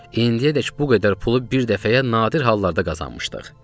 İndiyədək bu qədər pulu bir dəfəyə nadir hallarda qazanmışdıq.